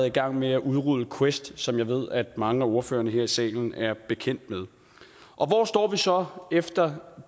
i gang med at udrulle quest som jeg ved mange af ordførerne her i salen er bekendt med hvor står vi så efter